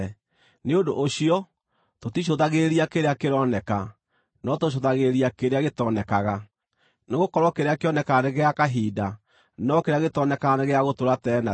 Nĩ ũndũ ũcio, tũticũthagĩrĩria kĩrĩa kĩroneka, no tũcũthagĩrĩria kĩrĩa gĩtonekaga. Nĩgũkorwo kĩrĩa kĩonekaga nĩ gĩa kahinda, no kĩrĩa gĩtonekaga nĩ gĩa gũtũũra tene na tene.